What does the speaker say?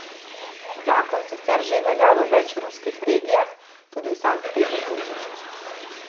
Zakon sicer že velja v več ruskih regijah, tudi v Sankt Peterburgu.